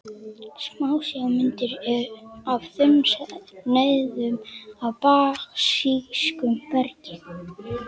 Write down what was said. Smásjármynd af þunnsneiðum af basísku bergi.